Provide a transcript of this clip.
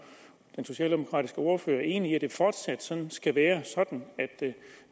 den socialdemokratiske ordfører er enig i at det fortsat skal være sådan